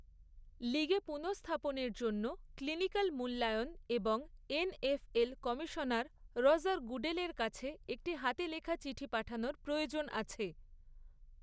লীগে পুনঃস্থাপনের জন্য ক্লিনিকাল মূল্যায়ন এবং এনএফএল কমিশনার রজার গুডেলের কাছে একটি হাতে লেখা চিঠি পাঠানর প্রয়োজন আছে।